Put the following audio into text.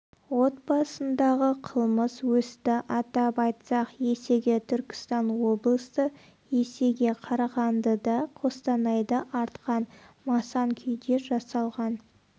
отбасындағы қылмыс өсті атап айтсақ есеге түркістан облысы есеге қарағандыда қостанайда артқан масан күйде жасалған